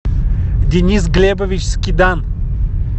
денис глебович скидан